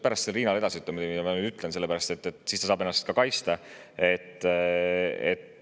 Pärast saab Riinale edasi öelda, muidugi ma ütlen, sellepärast et siis ta saab ennast kaitsta.